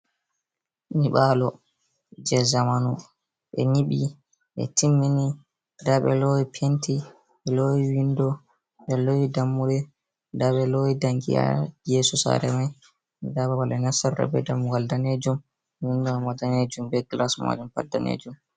Nibalo je zamanu. Be nibi, be timmini. Ɗabe lowi penti, be lowi winɗo, be lowi ɗammuɗe. Nɗabe lowi ɗanki ha yeso sare mai. Ɗa babal be nastirta be ɗmmugal nɗanejum. Winɗo maima nɗanejum. Be gilas majun pat nɗanejum.